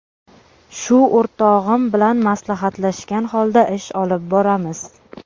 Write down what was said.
Shu o‘rtog‘im bilan maslahatlashgan holda ish olib boramiz.